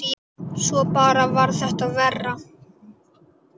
Svo bara varð þetta verra.